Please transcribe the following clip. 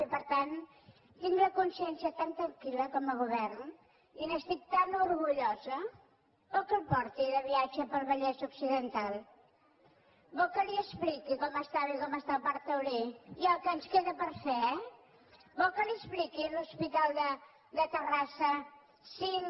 i per tant tinc la consciència tan tranquil·la com a govern i n’estic tan orgullosa vol que la porti de viatge pel vallès occidental vol que li expliqui com estava i com està el parc taulí i el que ens queda per fer eh vol que li expliqui l’hospital de terrassa cinc